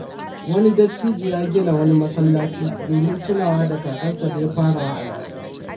Wani dattijo ya gina wani masallaci domin tunawa da kakansa da ya fara wa’azi.